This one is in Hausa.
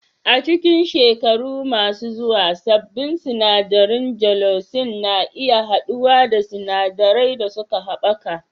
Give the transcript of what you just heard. A cikin shekaru masu zuwa, sabbin sinadarin gelocin na iya haɗuwa da sinadarai da suka haɓaka